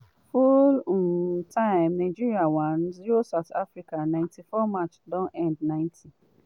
full um time nigeria 1-0 south africa 94' match don end 90